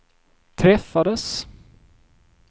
träffades